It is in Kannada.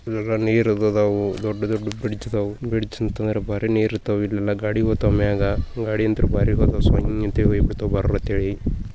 ಇದ್ದರೊಳಗ್ ನೀರದು ಅದವು ದೊಡ್ದೊಡ್ಡ ಬ್ರಿಜ್ ಅದವು ಬ್ರಿಜ್ ಕೆಳಗ್ ನೀರ ಇರ್ತಾವ್ ಇಲ್ಲೆಲ್ ಗಾಡಿ ಹೋಗ್ತಾವ್ ಮ್ಯಾಗ್ ಗಾಡಿ ಅಂತೂ ಭಾರಿ ಬರ್ತಾವ್ ಸಾವಂಡ್ ಸೊಯ್ಯ ಅಂತ ಹೇಳಿ ಭರ ಅಂತ ಹೇಳಿ.